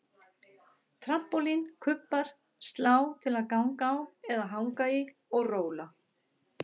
Trampólín, kubbar, slá til að ganga á eða hanga í og róla